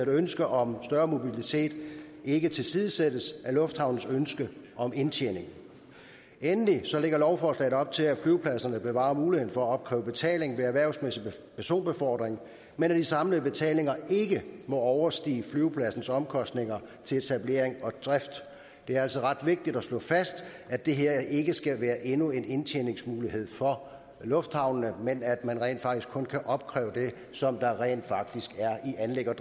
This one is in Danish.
ønske om større mobilitet ikke tilsidesættes af lufthavnenes ønske om indtjening endelig lægger lovforslaget op til at flyvepladserne bevarer muligheden for at opkræve betaling ved erhvervsmæssig personbefordring men at de samlede betalinger ikke må overstige flyvepladsernes omkostninger til etablering og drift det er altså ret vigtigt at slå fast at det her ikke skal være endnu en indtjeningsmulighed for lufthavnene men at man kun kan opkræve det som der rent faktisk er i anlægs og